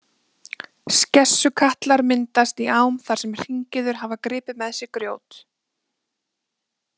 Skessukatlar myndast í ám þar sem hringiður hafa gripið með sér grjót.